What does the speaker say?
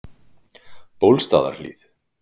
Bólstaðarhlíð